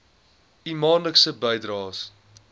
u maandelikse bydraes